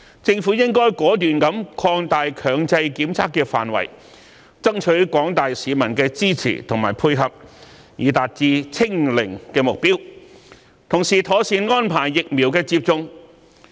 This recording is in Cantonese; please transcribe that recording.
政府亦應果斷地擴大強制檢測的範圍，爭取廣大市民的支持及配合，以達致"清零"的目標，並同時妥善安排疫苗接種的工作。